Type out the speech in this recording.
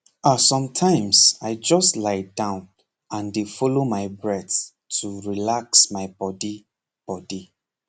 ahsometimes i just lie down and dey follow my breath to relax my body body